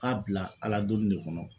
K'a bila Ala donni de kɔnɔ.